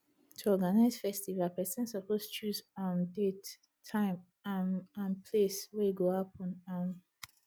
to organize festival persin suppose choose um date time um and place wey e go happen um